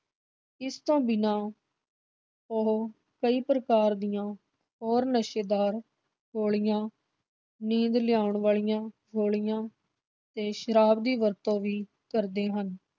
ਇਸ ਤੋਂ ਬਿਨ੍ਹਾਂ ਉਹ ਕਈ ਪ੍ਰਕਾਰ ਦੀਆਂ ਹੋਰ ਨਸ਼ੇਦਾਰ ਗੋਲੀਆਂ, ਨੀਂਦ ਲਿਆਉਣ ਵਾਲੀਆਂ ਗੋਲੀਆਂ ਤੇ ਸ਼ਰਾਬ ਦੀ ਵਰਤੋਂ ਵੀ ਕਰਦੇ ਹਨ।